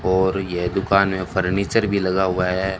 और यह दुकान में फर्नीचर भी लगा हुआ है।